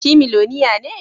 Shi miloniya ne?